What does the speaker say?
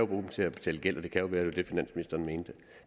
dem til at betale gæld og det kan jo være at det finansministeren mente